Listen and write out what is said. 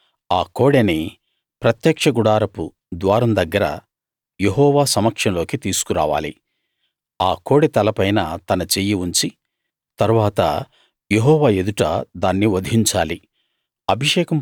అతడు ఆ కోడెని ప్రత్యక్ష గుడారపు ద్వారం దగ్గర యెహోవా సమక్షంలోకి తీసుకురావాలి ఆ కోడె తలపైన తన చెయ్యి ఉంచి తరువాత యెహోవా ఎదుట దాన్ని వధించాలి